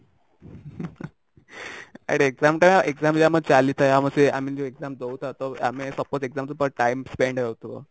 ଆରେ exam ଟା exam ବି ଆମର ଚାଲିଥାଏ ଆମ ସେ ଆମେ ଯୋଉ exam ଦଉ ନ ଦଉ ଆମେ suppose exam ଭଳିଆ time spend ହଉଥିବା